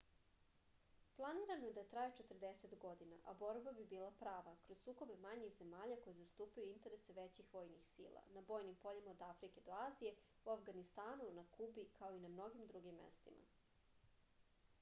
planirano je da traje 40 godina a borba bi bila prava kroz sukobe manjih zemalja koje zastupaju interese većih vojnih sila na bojnim poljima od afrike do azije u avganistanu na kubi kao i na mnogim drugim mestima